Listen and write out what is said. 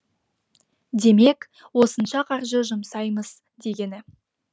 демек осынша қаржы жұмсаймыз дегені